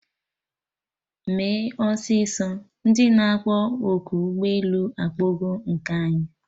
Mee ọsịsọ! Ndị na akpọ oku ụgbọ elu akpọgo nke anyị!